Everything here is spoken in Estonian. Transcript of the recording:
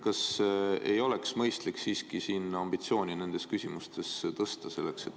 Kas ei oleks mõistlik siiski ambitsiooni selles valdkonnas tõsta?